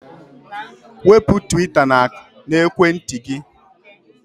Wepụ twita n'ekwentị gị!